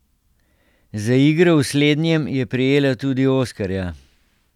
Za igro v slednjem je prejela tudi oskarja.